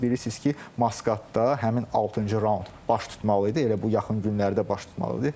Siz bilirsiz ki, Maskatda həmin altıncı raund baş tutmalı idi, elə bu yaxın günlərdə baş tutmalı idi.